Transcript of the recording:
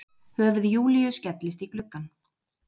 Höfuð Júlíu skellist í gluggann.